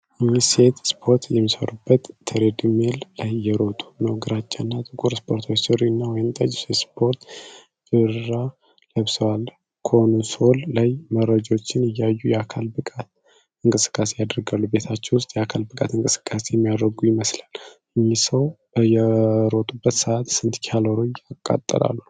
እኚህ ሴት ስፖርት የሚሰሩበት ትሬድሚል ላይ እየሮጡ ነው። ግራጫና ጥቁር ስፖርታዊ ሱሪ እና ወይንጠጅ የስፖርት ብራ ለብሰዋል። ኮንሶሉ ላይ መረጃዎችን እያዩ የአካል ብቃት እንቅስቃሴ ያደርጋሉ። ቤታቸው ውስጥ የአካል ብቃት እንቅስቃሴ የሚያደርጉ ይመስላል። እኚህ ሰው በሮጡበት ሰዓት ስንት ካሎሪ አቃጠሉ?